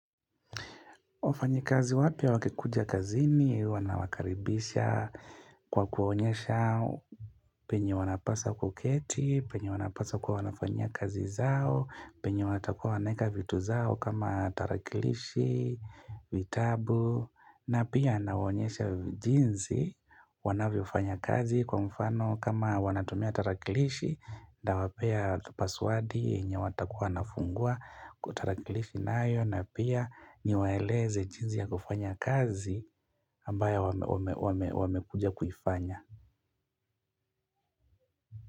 Wafanyikazi wapya wakikuja kazini wanawakaribisha kwa kuonyesha penye wanapasa kuketi, penye wanapasa kuwa wanafanyia kazi zao, penye watakuwa wanaeka vitu zao kama tarakilishi, vitabu, na pia anawaonyesha jinzi wanavyofanya kazi kwa mfano kama wanatumia tarakilishi, ndawapea paswadi yenye watakuwa wanafungua kutarakilifi nayo na pia niwaeleze jinzi ya kufanya kazi ambayo wamekuja kuifanya.